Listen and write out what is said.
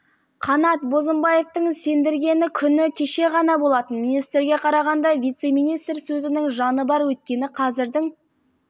қанат бозымбаевтың сендіргені күні кеше ғана болатын министрге қарағанда вице-министр сөзінің жаны бар өйткені қазірдің